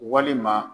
Walima